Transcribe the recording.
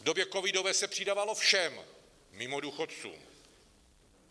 V době covidové se přidávalo všem mimo důchodců.